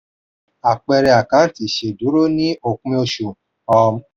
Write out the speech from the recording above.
àpẹẹrẹ àkáǹtì ìṣèdúró ní òpin oṣù